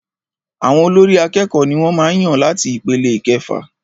Àwọn olórí àkẹ́kọ̀ọ ní wọ́n màá n yàn láti ipele ìkẹfà.